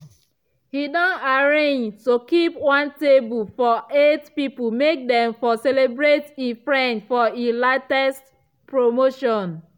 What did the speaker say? he don arrange to keep one table for eight pipo make them for celebrate e friend for e latest promotion